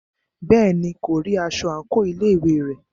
Bẹ́ẹ̀ni, kò rí aṣọ àńkò ilé ìwé rẹ̀.